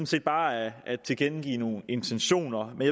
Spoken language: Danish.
set bare at at tilkendegive nogle intentioner men